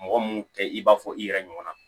Mɔgɔ mun tɛ i b'a fɔ i yɛrɛ ɲɔgɔn na